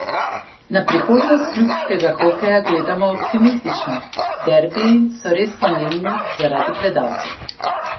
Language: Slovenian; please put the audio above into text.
Na prihodnost klubskega hokeja gleda optimistično: "Derbiji so res pomembni zaradi gledalcev.